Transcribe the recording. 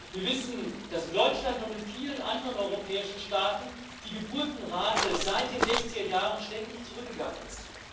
Wir wissen, dass in Deutschland und in vielen anderen europäischen Staaten die Geburtenrate seit den 60er Jahren ständig zurückgegangen ist.